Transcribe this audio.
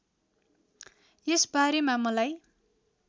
यस बारेमा मलाई